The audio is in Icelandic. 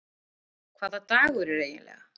Hvaða dagur er eiginlega?